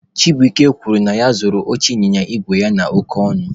Chibuike kwuru na ya zụrụ oche ịnyịnya igwe ya oke ọnụ.